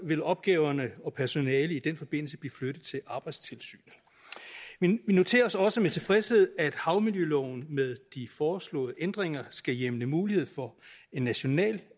vil opgaverne og personalet i den forbindelse blive flyttet til arbejdstilsynet vi noterer os også med tilfredshed at havmiljøloven med de foreslåede ændringer skal hjemle mulighed for en national